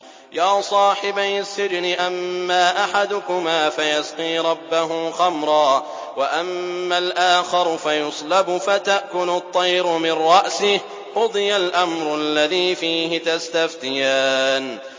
يَا صَاحِبَيِ السِّجْنِ أَمَّا أَحَدُكُمَا فَيَسْقِي رَبَّهُ خَمْرًا ۖ وَأَمَّا الْآخَرُ فَيُصْلَبُ فَتَأْكُلُ الطَّيْرُ مِن رَّأْسِهِ ۚ قُضِيَ الْأَمْرُ الَّذِي فِيهِ تَسْتَفْتِيَانِ